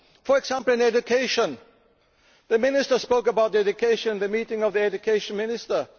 For example, in education the Minister spoke about education at the meeting of the Education Ministers.